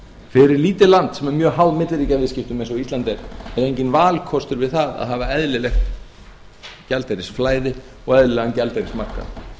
fyrir lítið land sem er mjög háð milliríkjaviðskiptum eins og ísland er er enginn valkostur við það að hafa eðlilegt gjaldeyrisflæði og eðlilegan gjaldeyrismarkað